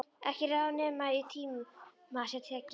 Ekki ráð nema í tíma sé tekið.